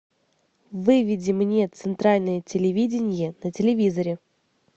выведи мне центральное телевидение на телевизоре